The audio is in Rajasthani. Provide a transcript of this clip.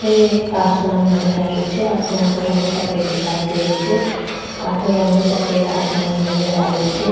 ये आसमान नजर आ रेहो छे आसमान को रंग सफ़ेद दिखाई दे रेहो छे अधो रंग सफेद आसमानी नजर आ रेहो छे।